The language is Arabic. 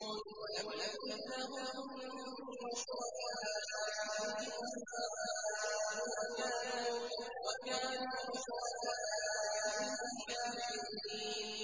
وَلَمْ يَكُن لَّهُم مِّن شُرَكَائِهِمْ شُفَعَاءُ وَكَانُوا بِشُرَكَائِهِمْ كَافِرِينَ